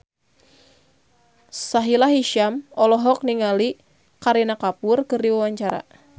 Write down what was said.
Sahila Hisyam olohok ningali Kareena Kapoor keur diwawancara